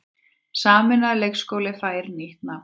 Sameinaður leikskóli fær nýtt nafn